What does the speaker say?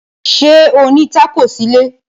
Ṣé ó ní tákò sílé?